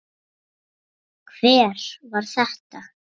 Hver var þetta?